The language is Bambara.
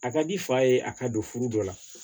A ka di fa ye a ka don furu dɔ la